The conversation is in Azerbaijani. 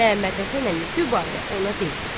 Məmmədhəsən əmi dübarə ona dedi: